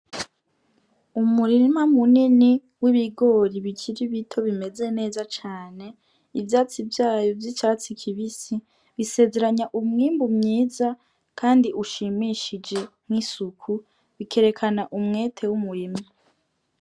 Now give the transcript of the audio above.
Umurima munini w' ibigori bikiri bito bimeze neza cane ivyatsi vyayo vy' icatsi kibisi bisezeranya umwimbu mwiza kandi ushimishije n' isuku bikerekana umwete w' umurimyi.